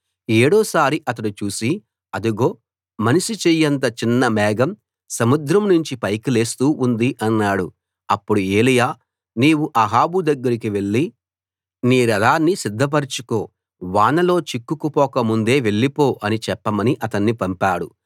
ఏడో సారి అతడు చూసి అదిగో మనిషి చెయ్యంత చిన్న మేఘం సముద్రం నుంచి పైకి లేస్తూ ఉంది అన్నాడు అప్పుడు ఏలీయా నీవు అహాబు దగ్గరికి వెళ్లి నీ రథాన్ని సిద్ధ పరచుకో వానలో చిక్కుకుపోక ముందే వెళ్ళిపో అని చెప్పమని అతన్ని పంపాడు